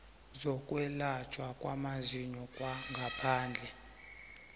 zokwelatjhwa kwamazinyo kwangaphandle